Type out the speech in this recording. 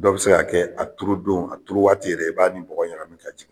Dɔ bi se ka kɛ a turu don a turu waati yɛrɛ i b'a ni bɔgɔ ɲagami ka jigin